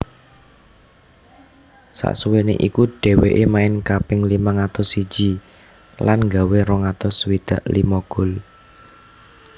Sasuwéné iku dhéwéké main kaping limang atus siji lan gawé rong atus swidak limo gol